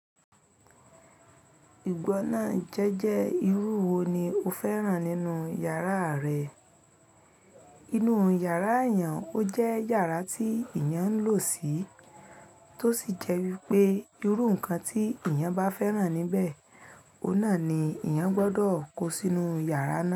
Ìgbọ́nà jẹ́jẹ́ irú wo ni o fẹ́ràn nínú yàrá rẹ? Inú yàrá èèyàn ó jẹ́ yàrá tí èèyàn ń lò sí, tó sì jẹ́ wípé irú nǹkan tí èèyàn bá fẹ́ràn níbẹ̀, ọ̀nà ni èèyàn gbọ́dọ̀ kó sínú yàrá náà.